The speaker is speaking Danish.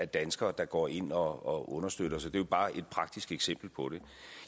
danskere der går ind og understøtter det er bare et praktisk eksempel på det